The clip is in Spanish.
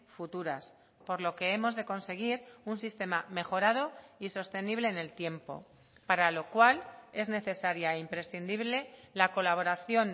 futuras por lo que hemos de conseguir un sistema mejorado y sostenible en el tiempo para lo cual es necesaria e imprescindible la colaboración